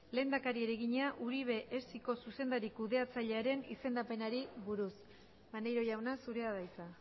lehendakariari egina uribe esiko zuzendari kudeatzailearen izendapenari buruz maneiro jauna zurea da hitza